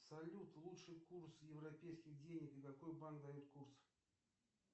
салют лучший курс европейских денег какой банк дает курс